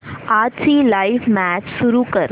आजची live match सुरू कर